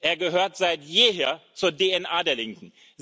Er gehört seit jeher zur DNA der Linken.